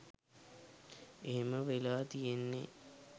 එහෙම වෙලා තියෙන්නේ